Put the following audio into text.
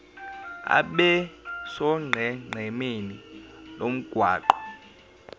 abe sonqenqemeni lomgwaqo